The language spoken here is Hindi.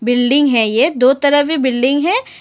बिल्डिंग है ये दो तरह से बिल्डिंग है।